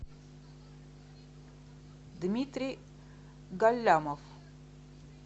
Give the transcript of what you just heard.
дмитрий галямов